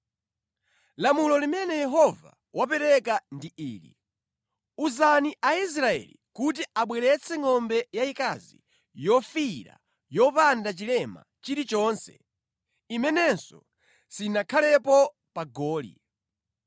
“Lamulo limene Yehova wapereka ndi ili: Uzani Aisraeli kuti abweretse ngʼombe yayikazi yofiira yopanda chilema chilichonse imenenso sinakhalepo pa goli.